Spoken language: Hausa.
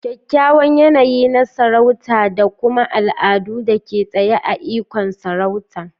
kyakkyawan yanayi na sarauta, da kuma al'adu da ke tsaye a ikon sarauta.